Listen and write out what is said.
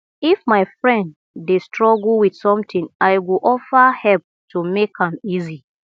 if my friend dey struggle with something i go offer help to make am easy